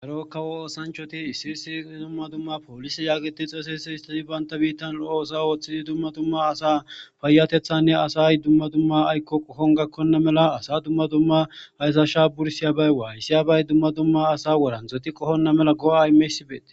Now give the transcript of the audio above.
Erokkawo oosanchoti issi issi dumma dumma poolis yaagiti xosese histati baynta biittan oosa ooththidi dumma dumma asa paayatethanne asay dumma dumma aykko qokon gakkonna mela asa dumma dumma hayzasha bursiyabay waalisiyabay dumma dumma asa woran dzoti qohonna mela go'a imeysibeete